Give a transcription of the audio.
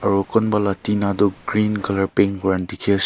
aro khon bala tina tu green colour pink kuran dikhi as--